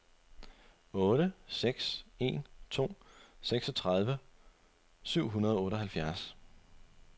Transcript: otte seks en to seksogtredive syv hundrede og otteoghalvfjerds